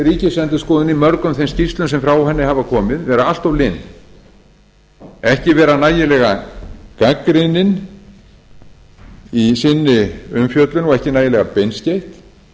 ríkisendurskoðun í mörgum þeim skýrslum sem frá henni hafa komið vera allt lin ekki vera nægilega gagnrýnin í sinni umfjöllun og ekki nægilega beinskeytt